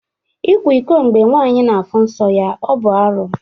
Ikwa iko mgbe nwanyị na-afụ nsọ ya ọ bụ arụ?